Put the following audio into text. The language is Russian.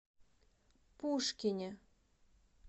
пушкине